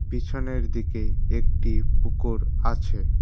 পিছনের দিকে একটি পুকোর আছে।